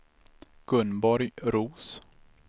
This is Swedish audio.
Gunborg Roos